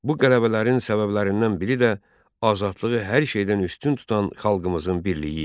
Bu qələbələrin səbəblərindən biri də azadlığı hər şeydən üstün tutan xalqımızın birliyi idi.